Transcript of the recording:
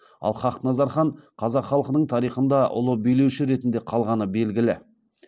ал хақназар хан қазақ халқының тарихында ұлы билеуші ретінде қалғаны белгілі